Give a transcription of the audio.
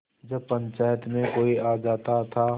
जब पंचायत में कोई आ जाता था